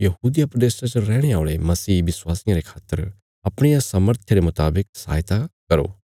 यहूदिया प्रदेशा च रैहणे औल़े मसीह विश्वासिया रे खातर अपणिया सामर्थय रे मुतावक सहायता करें